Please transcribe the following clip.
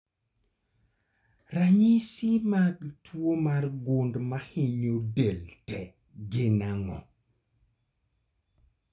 Ranyisi mag tuo mar gund mahinyo del tee gin ang'o?